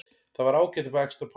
Það var ágætt að fá extra pásu.